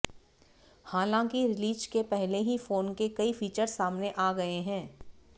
हालांकि रिलीज के पहले ही फोन के कई फीचर्स सामने आ गए हैं